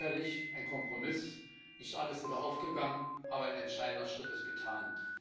Sicherlich ein Kompromiss, nicht alles ist aufgegangen, aber ein entscheidender Schritt ist getan.